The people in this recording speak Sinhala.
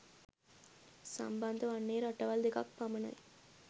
සම්බන්ධ වන්නේ රටවල් දෙකක් පමණයි.